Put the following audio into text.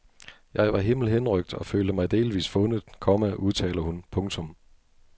Jeg var himmelhenrykt og følte mig delvist fundet, komma udtaler hun. punktum